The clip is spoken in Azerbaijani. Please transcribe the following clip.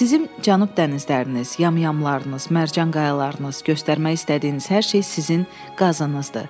Sizin Cənub dənizləriniz, yamyamlarınız, mərcan qayalarınız, göstərmək istədiyiniz hər şey sizin qazınızdır.